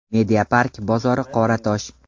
Mediapark bozori Qoratosh.